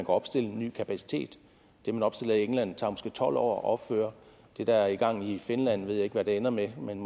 opstille ny kapacitet det man opstiller i england tager måske tolv år at opføre det der er i gang i finland ved jeg ikke hvad ender med men